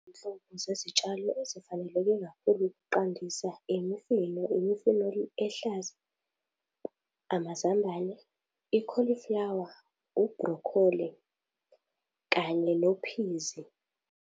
Izinhlobo zezitshalo ezifaneleke kakhulu ukuqandisa imifino, imifino iluhlaza, amazambane, ikholiflawa, ibrokholi kanye nophizi.